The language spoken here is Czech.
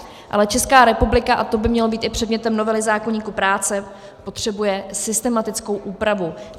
Ale Česká republika, a to by mělo být i předmětem novely zákoníku práce, potřebuje systematickou úpravu.